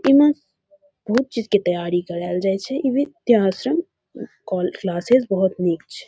इ में बहुत चीज के तैयारी करल जाय छै इ विद्याश्रम कॉ क्लासेज बहुत नीक छै।